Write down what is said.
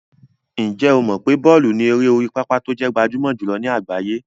Ǹjẹ́ o mọ̀ pé bọ́ọ̀lù ni eré orí pápá tó jẹ́ gbajúmọ̀ jùlọ ní àgbáyé?